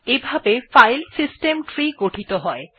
এভাবে Linux file system tree তৈরী হয়